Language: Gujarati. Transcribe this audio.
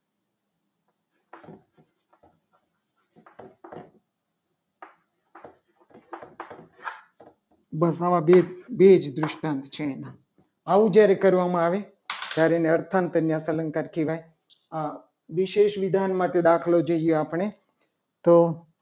બસ આવા આવા બે જૃષ્ટાંત છે. આના આવું જ્યારે કરવામાં આવે ત્યારે એને અર્થાત ત્યાં અલંકાર કહેવાય. વિશેષ વિધાન માટે દાખલો જોઈએ. આપણે તો